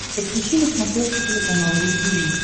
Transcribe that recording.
подключи на смотрешке телеканал ру ти ви